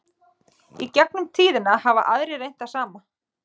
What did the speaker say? í gegnum tíðina hafa aðrir reynt það sama